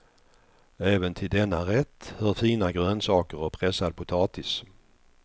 Även till denna rätt hör fina grönsaker och pressad potatis.